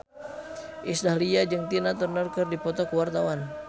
Iis Dahlia jeung Tina Turner keur dipoto ku wartawan